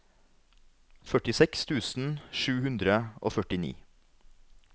førtiseks tusen sju hundre og førtini